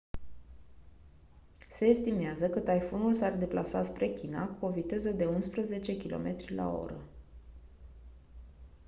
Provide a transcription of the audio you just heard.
se estimează că taifunul s-ar deplasa spre china cu o viteză de unsprezece km/h